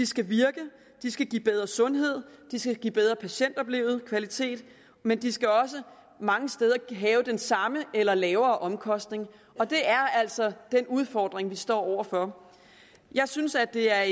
skal virke de skal give bedre sundhed de skal give bedre patientoplevet kvalitet men de skal også mange steder have den samme eller lavere omkostning og det er altså den udfordring vi står over for jeg synes at det er